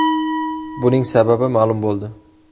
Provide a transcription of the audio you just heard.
Buning sababi ma’lum bo‘ldi.